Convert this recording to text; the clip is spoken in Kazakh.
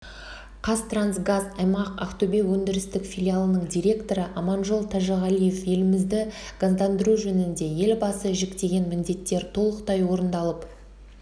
қазтрансгаз аймақ ақтөбе өндірістік филиалының директоры аманжол тәжіғалиев елімізді газдандыру жөнінде елбасы жүктеген міндеттер толықтай орындалып